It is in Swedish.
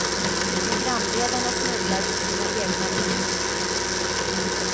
Programledarna snubblar på sina egna ord.